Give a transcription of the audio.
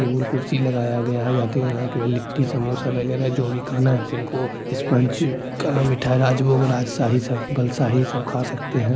Table कुर्सी लगाया गया है यात्रीगण आए केवल लिट्टी समोसा वगैरह जो भी खाना है जिनको स्पंज काला मिठाई राजभोग राजशाही सब बलसाही सब खा सकते है ।